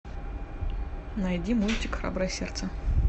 найди мультик храброе сердце